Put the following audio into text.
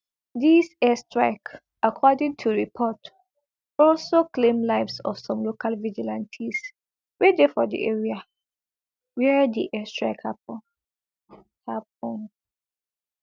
dis airstrike according to report also claim lives of some local vigilantes wey dey for di area wia di airstrike happun happun